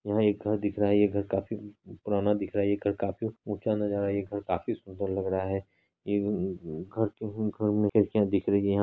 यहां एक घर दिख रहा है यह घर काफी पुराना दिख रहा है यह घर काफी ऊंचा नजर आ रहा है यह घर काफी सुंदर लग रहा है। यह घर मे खिड़कियां दिख रही हैं।